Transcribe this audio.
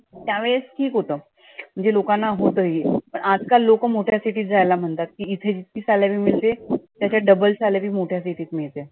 त्या वेळेस ठिक होतं. म्हणजे लोकांना होतं हे. पण आजकाल लोकांना मोठ्या city जायला म्हणतात की इथे salary मिळते त्याच्या double salary मोट्या city तं मिळते.